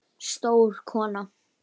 Stór kona.